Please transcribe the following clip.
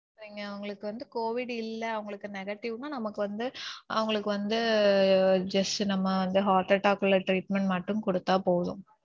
நீங்க அவங்களுக்கு வந்து covid இல்ல அவங்களுக்கு negative னு நமக்கு வந்து அவங்களுக்கு வந்து நம்ம just வந்து heart attack குள்ள treatment மட்டும் குடுத்தா போதும்.